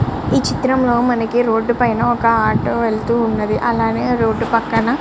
ఈ చిత్రం లో మనకి రోడ్ పైన ఒక ఆటో వెళ్తూ ఉన్నది అలాగే రోడ్ పక్కన --